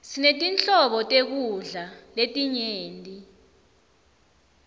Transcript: sinetinhlobo tekudla letinyenti